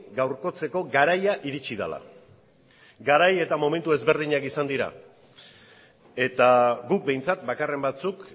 gaurkotzeko garaia iritsi dela garai eta momentu ezberdinak izan dira eta guk behintzat bakarren batzuk